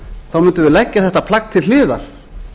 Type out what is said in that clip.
þá mundum við leggja þetta plagg til hliðar